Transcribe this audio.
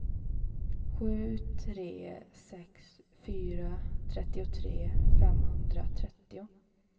sju tre sex fyra trettiotre femhundratrettio